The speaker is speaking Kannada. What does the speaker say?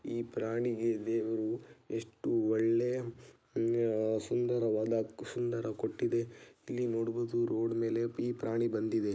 ಈ ಪ್ರಾಣಿಗೆ ದೇವರು ಎಷ್ಟು ಒಳ್ಳೆ ಸುಂದರವಾದ ಕುಸುಂದರ ಕೊಟ್ಟಿದೆ ಇಲ್ಲಿ ನೋಡಬಹುದು ರೋಡ್ ಮೇಲೆ ಈ ಪ್ರಾಣಿ ಬಂದಿದೆ.